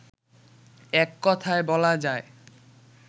এককথায় বলা যায়